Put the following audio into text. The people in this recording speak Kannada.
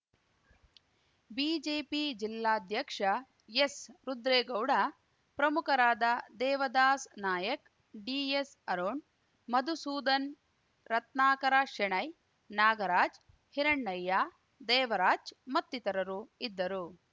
ಬಿಜೆಪಿ ಜಿಲ್ಲಾಧ್ಯಕ್ಷ ಎಸ್‌ ರುದ್ರೇಗೌಡ ಪ್ರಮುಖರಾದ ದೇವದಾಸ್‌ ನಾಯಕ್‌ ಡಿಎಸ್‌ ಅರುಣ್‌ ಮಧುಸೂದನ್‌ ರತ್ನಾಕರ ಶೆಣೈ ನಾಗರಾಜ್‌ ಹಿರಣ್ಣಯ್ಯ ದೇವರಾಜ್‌ ಮತ್ತಿತರರು ಇದ್ದರು